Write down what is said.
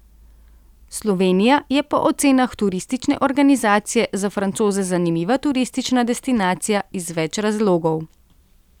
Slovenija je po ocenah turistične organizacije za Francoze zanimiva turistična destinacija iz več razlogov.